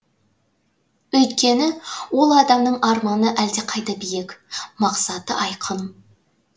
өйткені ол адамның арманы әлдақайда биік мақсаты айқын